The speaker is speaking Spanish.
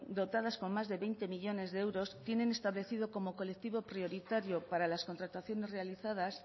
dotadas con más de veinte millónes de euros tienen establecido como colectivo prioritario para las contrataciones realizadas